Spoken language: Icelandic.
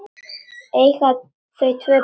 Eiga þau tvö börn.